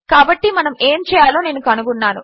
కాబట్టి మనము ఏమి చేయాలో నేను కనుగొన్నాను